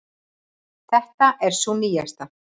Þetta er sú nýjasta.